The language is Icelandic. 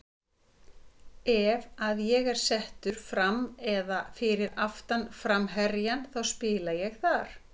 Ef að ég er settur fram eða fyrir aftan framherjann þá spila ég þar.